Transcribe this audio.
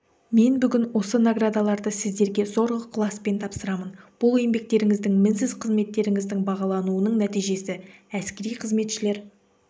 мен бүгін осы наградаларды сіздерге зор ықыласпен тапсырамын бұл еңбектеріңіздің мінсіз қызметтеріңіздің бағалануының нәтижесі әскери қызметшілер